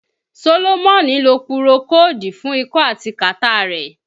Sólómọ́nì ló pùròkódù fún ikọ́ àti kàtá rẹ̀